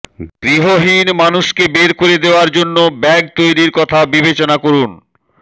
গৃহহীন মানুষকে বের করে দেওয়ার জন্য ব্যাগ তৈরির কথা বিবেচনা করুন